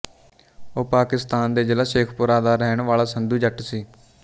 ਉਹ ਪਾਕਿਸਤਾਨ ਦੇ ਜ਼ਿਲ੍ਹਾ ਸ਼ੇਖੂਪੁਰਾ ਦਾ ਰਹਿਣ ਵਾਲਾ ਸੰਧੂ ਜੱਟ ਸੀ